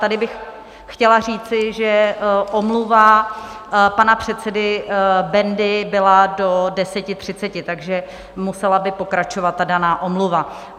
Tady bych chtěla říci, že omluva pana předsedy Bendy byla do 10.30, takže by musela pokračovat ta daná omluva.